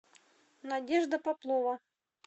надежда поплова